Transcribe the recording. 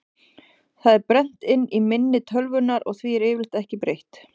Það er brennt inn í minni tölvunnar og því er yfirleitt ekki breytt.